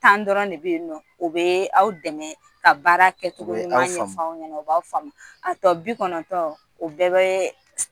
Tan dɔrɔn de bɛ yen nɔ u bɛ aw dɛmɛ ka baara kɛ cogo u b'aw famu ɲuman ɲɛf'aw ɲɛna u b'aw famu a tɔ bi kɔnɔntɔn o bɛɛ bee